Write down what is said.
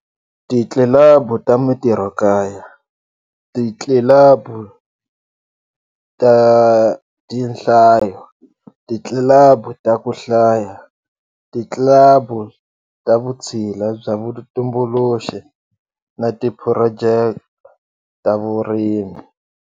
Titlilabu ta mitirhokaya, titlilabu ta tinhlayo, titlilabu ta ku hlaya, titlilabu ta vutshila bya vutumbuluxi na tiphurojeke ta vurimi.